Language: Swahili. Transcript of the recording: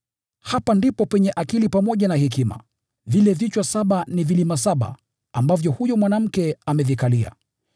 “Hapa ndipo penye wito wa akili pamoja na hekima. Vile vichwa saba ni vilima saba ambavyo huyo mwanamke amevikalia.